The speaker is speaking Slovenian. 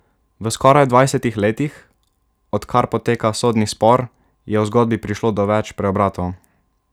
V skoraj dvajsetih letih, odkar poteka sodni spor, je v zgodbi prišlo do več preobratov.